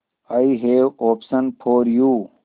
I have option for you